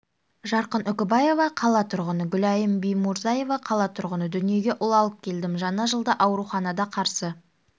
жарқын үкібаева қала тұрғыны гүлайым бимурзаева қала тұрғыны дүниеге ұл алып келдім жаңа жылды ауруханада қарсы